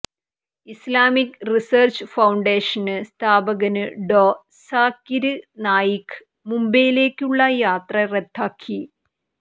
Islamic Research Foundation സ്ഥാപകന് Dr Zakir Naik മുംബൈയിലേക്കുള്ള യാത്ര റദ്ദാക്കി